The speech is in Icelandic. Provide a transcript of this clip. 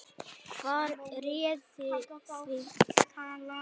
Hvað réði því?